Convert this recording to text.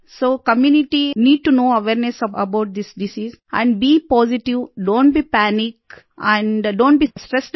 so community need to know awareness about this disease and be positive don't be panic and don't be stressed out